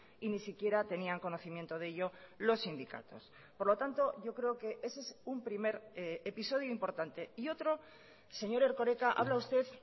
y ni siquiera tenían conocimiento de ello los sindicatos por lo tanto yo creo que ese es un primer episodio importante y otro señor erkoreka habla usted